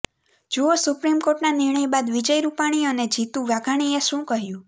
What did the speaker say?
જુઓ સુપ્રીમ કોર્ટના નિર્ણય બાદ વિજય રૂપાણી અને જીતુ વાઘાણીએ શું કહ્યું